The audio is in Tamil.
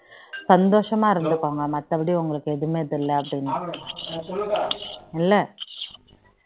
சந்தோஷமா இருந்துகோங்க மற்ற படி உங்களுக்கு ஏதுவுமே த்ரியல அப்படின்னு இல்ல